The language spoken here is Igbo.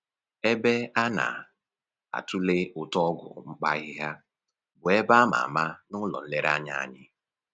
Ebe a na-atule ụtọ ọgwụ mkpa ahịhịa bụ ebe a ma ama n'ụlọ nlereanya anyị